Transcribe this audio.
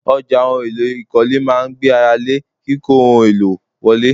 Ọjà ohun èlò ìkọ́lé máa ń gbé ara lé kíkó ohun èlò wọlé.